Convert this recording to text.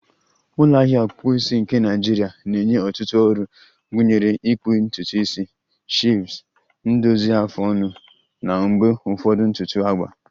ulo ahia ọkpụkpụ isi nke Naịjirịa na-enye ọtụtụ ọrụ, gụnyere ịkpụ ntutu isi, shaves, ndozi afụ ọnụ, na mgbe ụfọdụ ntutu agba